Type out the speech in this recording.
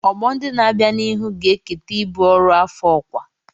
Ọgbọ ndị na-abịa n'ihu ga-eketa ibu ọrụ afọ-ọkwa.